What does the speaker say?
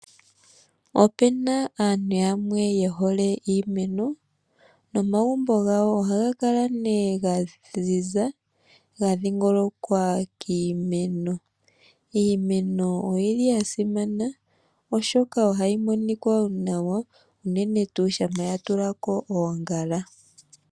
Opena aantu yamwe yehole iimeno, nomagumbo gawo ohaga kala nee gaziza ga dhi ngolokwa kiimeno. Iimeno oyili yasimana oshoka ohayi monikwa nawa unene tuu shampa ya tulako oongala.